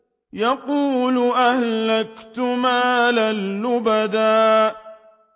يَقُولُ أَهْلَكْتُ مَالًا لُّبَدًا